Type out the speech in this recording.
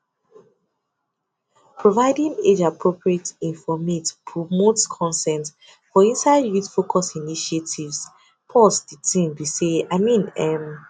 providing age appropriate informate promotes consent for inside youth focused initiatives de tin be say i mean um